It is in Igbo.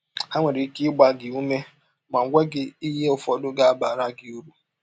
Ha nwere ike ịgba gị ụme ma gwa gị ihe ụfọdụ ga - abara gị ụrụ.